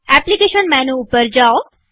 application menu ઉપર જાઓ